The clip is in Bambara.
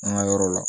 An ka yɔrɔ la